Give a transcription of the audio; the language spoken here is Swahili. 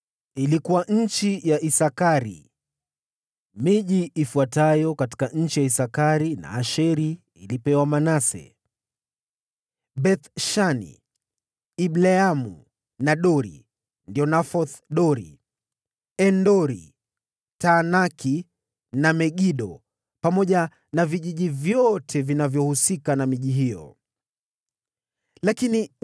Katika Isakari na Asheri Manase alikuwa na miji pia: Beth-Shani, Ibleamu na watu wa Dori, Endori, Taanaki na Megido, pamoja na vijiji vyote vinavyohusika na miji hiyo (ya tatu katika orodha ni Nafothi).